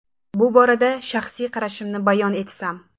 Bu borada shaxsiy qarashimni bayon etsam.